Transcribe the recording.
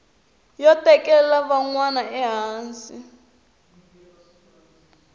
yo tekela van wana ehansi